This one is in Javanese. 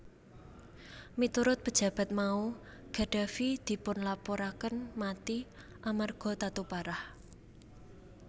Miturut pejabat mau Gaddafi dilapuraké mati amarga tatu parah